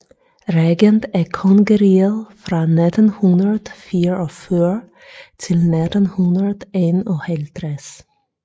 Regent af kongeriget fra 1944 til 1951